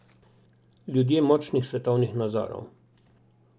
Ljudje močnih svetovnih nazorov.